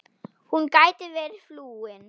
Hún gæti verið flúin.